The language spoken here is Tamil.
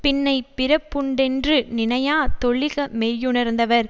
பின்னை பிறப்புண்டென்று நினையா தொழிக மெய்யுணர்ந்தவர்